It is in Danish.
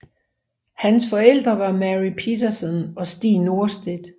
Hans forældre var Mary Petersson og Stig Norstedt